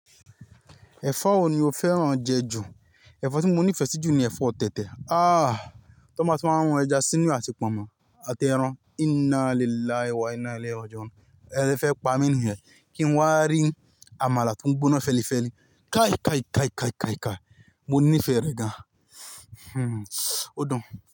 Ẹ̀fọ́ wo ni o fẹ́ràn jẹ ju? Ẹ̀fọ́ tí mo nífẹ̀ẹ́ sí jù ni ẹ̀fọ́ tẹ̀tẹ̀. Ah! Tí wọ́n bá ti wáa ń run ẹja sínú ee àti pọ̀nmọ́, àti ẹran. Innalillahi wa innalillah raji'un. Ẹ fẹ́ pa mi níyen. Kí n wá rí àmàlà tí oo gbóná fẹlifẹli. Kai kai kai kai kai kai. Mo nífẹ̀ẹ́ rẹ̀ gan. Hmm. Ó dùn.